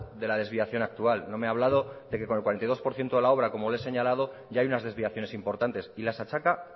de la desviación actual no me ha hablado de que con el cuarenta y dos por ciento de la obra como le he señalado ya hay unas desviaciones importantes y las achaca